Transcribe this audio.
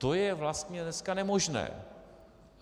To je vlastně dneska nemožné.